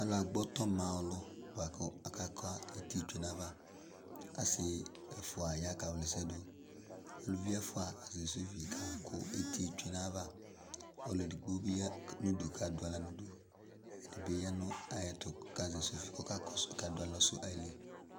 Aka gbɔtɔ ma ɔlʋ, bʋa kʋ aka ka eti tsue nayavaAsɩ ɛfʋa ya ka wlɛsɛdʋ, uluvi ɛfʋabɩ ka kʋ eti tsue nayava, ɔlʋ edigbo bɩ ya kadʋ aɣla nʋ udu